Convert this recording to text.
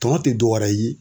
Tɔnɔ te dɔwɛrɛ ye